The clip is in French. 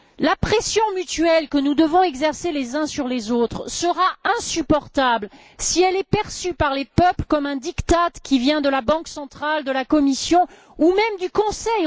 La pression mutuelle que nous devons exercer les uns sur les autres sera insupportable si elle est perçue par les peuples comme un diktat qui vient de la Banque centrale, de la Commission ou même du Conseil.